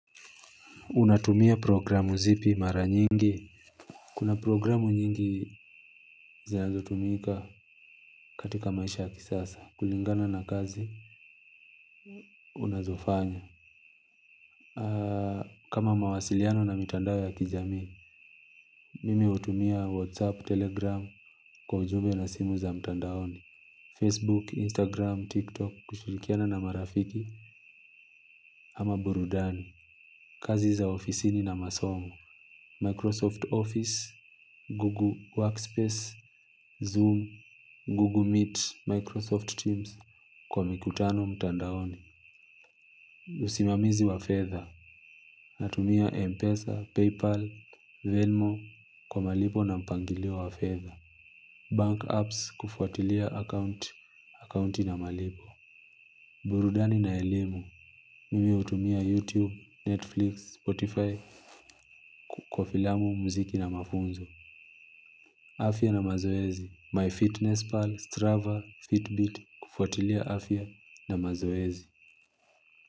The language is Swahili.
Unatumia programu zipi mara nyingi. Kuna programu nyingi zinazotumika katika maisha ya kisasa kulingana na kazi unazofanya. Kama mawasiliano na mitandao ya kijamii mimi utumia whatsapp telegram kwa ujumbe na simu za mtandaoni Facebook instagram tiktok kushulikiana na marafiki ama burudani. Kazi za ofisini na masomo, Microsoft Office, Google Workspace, Zoom, Google Meet, Microsoft Teams kwa mikutano mtandaoni. Usimamizi wa fedha, natumia Mpesa, PayPal, Venmo kwa malipo na mpangilio wa fedha Bank apps kufuatilia account, accounti na malipo. Burudani na elimu, mimi utumia YouTube, Netflix, Spotify kwa filamu, mziki na mafunzo. Afia na mazoezi, MyFitnessPal, Strava, Fitbit, kufuatilia afia na mazoezi.